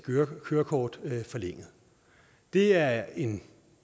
kørekort forlænget det er en